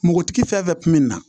Npogotigi fɛn o fɛn kun be na